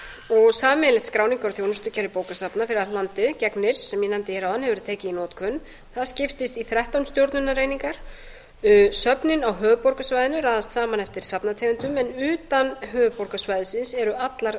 og sameiginlegt skráningar og þjónustukerfi bókasafna þegar gegnir sem ég nefndi hér áðan hefur veri tekið í notkun það skiptist í þrettán stjórnunareiningar efni á höfuðborgarsvæðinu er raðað saman eftir safnategundum en utan höfuðborgarsvæðisins eru allar